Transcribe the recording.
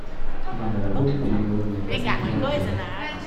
время работы переговорной комнаты в отеле